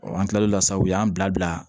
an kila la sa u y'an bila bila